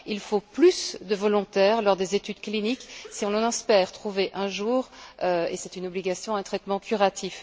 Il faut plus de volontaires lors des études cliniques si l'on espère trouver un jour et c'est une obligation un traitement curatif.